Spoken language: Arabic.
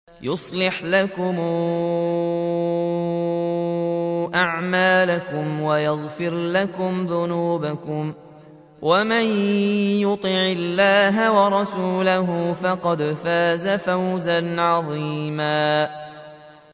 يُصْلِحْ لَكُمْ أَعْمَالَكُمْ وَيَغْفِرْ لَكُمْ ذُنُوبَكُمْ ۗ وَمَن يُطِعِ اللَّهَ وَرَسُولَهُ فَقَدْ فَازَ فَوْزًا عَظِيمًا